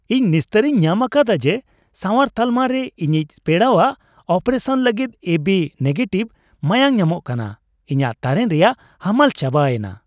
ᱤᱧ ᱱᱤᱥᱛᱟᱹᱨᱤᱧ ᱧᱟᱢ ᱟᱠᱟᱫᱟ ᱡᱮ ᱥᱟᱶᱟᱨ ᱛᱟᱞᱢᱟ ᱨᱮ ᱤᱧᱤᱡ ᱯᱮᱲᱟᱣᱟᱜ ᱚᱯᱟᱨᱮᱥᱚᱱ ᱞᱟᱹᱜᱤᱫ ᱮᱵᱤ ᱱᱮᱜᱮᱴᱤᱷ ᱢᱟᱭᱟᱢ ᱧᱟᱢᱚᱜ ᱠᱟᱱᱟ ᱾ ᱤᱧᱟᱜ ᱛᱟᱨᱮᱱ ᱨᱮᱭᱟᱜ ᱦᱟᱢᱟᱞ ᱪᱟᱵᱟᱭᱮᱱᱟ ᱾